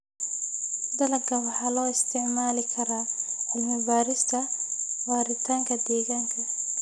Dalagga waxaa loo isticmaali karaa cilmi-baarista waaritaanka deegaanka.